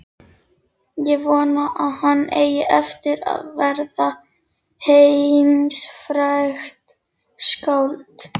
Ég vona að hann eigi eftir að verða heimsfrægt skáld.